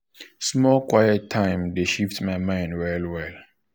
small quiet time dey shift my mind well mind well well.